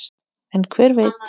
En hver veit!